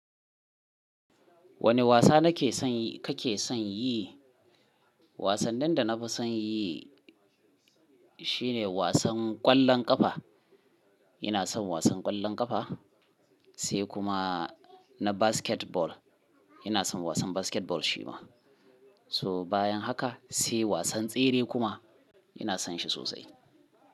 Wane wasa na ke son kake son yi? Wasannin da na fi son yi shine wasan ƙwallon ƙafa. Ina son wasan ƙwallon ƙafa sai kuma na basketball. Ina son wasan basketball shi ma. So bayan haka sai wasan tsere kuma ina son shi sosai.